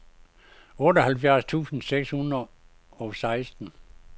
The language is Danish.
otteoghalvfjerds tusind seks hundrede og seksten